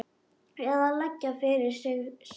Eða leggja fyrir sig söng?